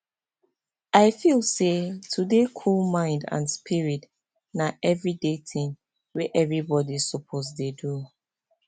i feel say to dey cool mind and spirit na everyday tin wey everybody suppose dey do